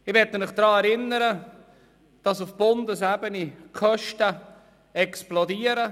Ich möchte Sie daran erinnern, dass auf Bundesebene die Kosten explodieren.